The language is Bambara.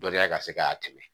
Dɔnniya ka se ka tɛmɛ